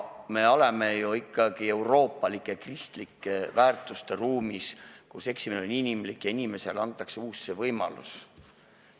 Me elame ikkagi ju euroopalike kristlike väärtuste ruumis, kus eksimine on inimlik ja inimesele antakse uus võimalus.